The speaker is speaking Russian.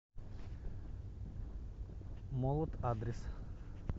молот адрес